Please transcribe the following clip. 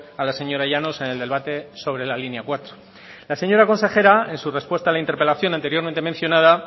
a la señora llanos en el debate sobre la línea cuatro la señora consejera en su respuesta a la interpelación anteriormente mencionada